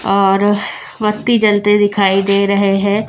और मत्ती जलते दिखाई दे रहे हैं।